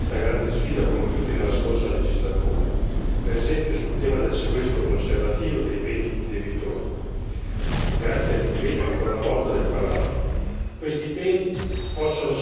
Questo si aggiunge ai passi in avanti su questa grande sfida compiuti nella scorsa legislatura, per esempio sul tema del sequestro conservativo dei beni di debitori, grazie all'impegno ancora una volta del Parlamento.